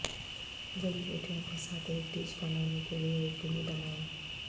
جڑی بوٹیوں کے ساتھ ایک ڈش بنانے کے لئے یقینی بنائیں